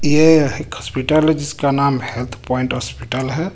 ये एक हॉस्पिटल है जिसका नाम हेल्थ पॉइंट हॉस्पिटल है.